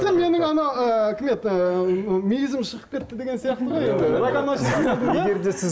менің ана ыыы кім еді ыыы мүйізім шығып кетті деген сияқты ғой енді